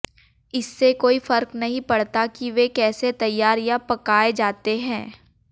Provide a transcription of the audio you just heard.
इससे कोई फर्क नहीं पड़ता कि वे कैसे तैयार या पकाए जाते हैं